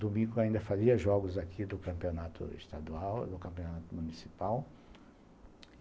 Domingo ainda fazia jogos aqui do Campeonato Estadual, do Campeonato Municipal.